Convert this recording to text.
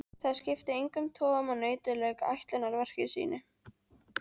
Það skipti engum togum að nautið lauk ætlunarverki sínu.